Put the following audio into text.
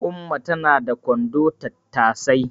Umma na da kwandon tattasai